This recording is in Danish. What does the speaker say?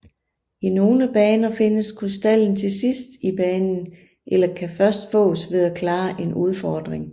I nogle baner findes krystallen til sidst i banen eller kan først fås ved at klare en udfordring